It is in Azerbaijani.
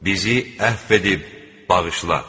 Bizi əff edib bağışla.